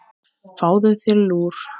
Fáðu þér lúr.